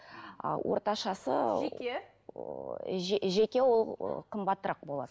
а орташасы жеке жеке ол қымбатырақ болады